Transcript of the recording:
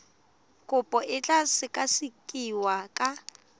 kopo e tla sekasekiwa ka